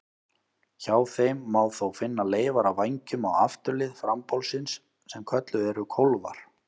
Hjá þeim má þó finna leifar af vængjum á afturlið frambolsins sem kölluð eru kólfar.